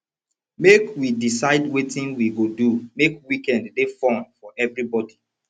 make we decide wetin we go do make weekend dey fun for everybodi